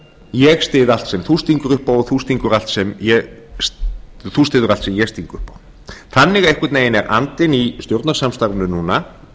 ég styð allt sem þú stingur upp á og þú styður allt sem ég sting upp á þannig einhvern veginn er andinn í stjórnarsamstarfinu núna